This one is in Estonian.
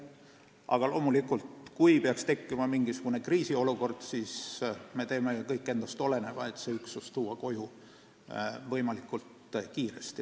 Aga loomulikult, kui peaks tekkima mingisugune kriisiolukord, siis me teeme kõik endast oleneva, et see üksus võimalikult kiiresti koju tuua.